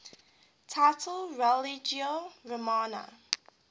title religio romana